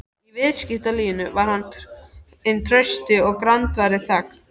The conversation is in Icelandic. Í viðskiptalífinu var hann hinn trausti og grandvari þegn.